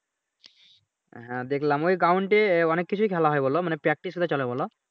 হ্যাঁ দেখালাম ওই ground এ অনেক কিছুই খেলা হয় বলো মানে practice চলে বলো